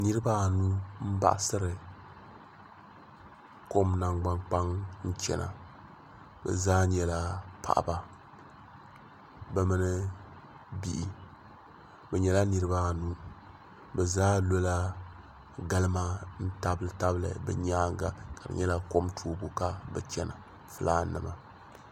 Niriba anu m baɣasiri kom nangban kpaŋa n chena bɛ zaa nyɛla paɣaba bɛ mini bihi bɛ nyɛla niriba anu bɛ zaa lola galima n tabili tabili bɛ nyaanga ka di nyɛla kom toobu ka bɛ chena filaanima.